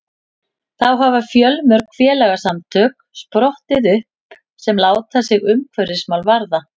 þá hafa fjölmörg félagasamtök sprottið upp sem láta sig umhverfismál varða